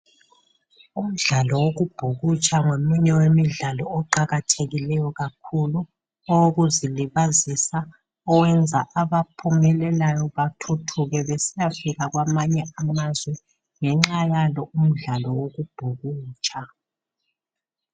Umdlalo wokubhukutsha ngomunye wemidlao oqakathekileyo kakhulu owokuzilibazisa owenza abaphumelelayo bathuthuke besiyafika kwamanye amazwe ngenxa yalo umdlalo wokubhukutsha.